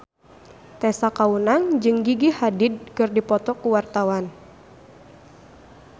Tessa Kaunang jeung Gigi Hadid keur dipoto ku wartawan